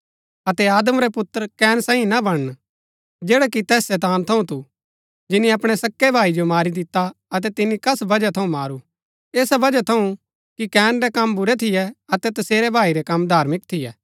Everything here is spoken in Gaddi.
अतै आदम रै पुत्र कैन सांईं ना बणन जैडा कि तैस शैतान थऊँ थू जिनी अपणै सक्‍कै भाई जो मारी दिता अतै तिनी कस बजहा थऊँ मारू ऐस बजहा थऊँ कि कैन रै कम बुरै थियै अतै तसेरै भाई रै कम धार्मिक थियै